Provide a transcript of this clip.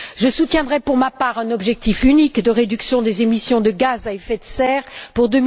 Je soutiendrai, pour ma part, un objectif unique de réduction des émissions de gaz à effet de serre pour